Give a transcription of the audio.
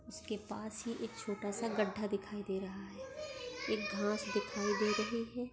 उसके पास हि एक छोटासा गड्डा दिखाई दे रहा है एक घास दिखाई दे रहे है।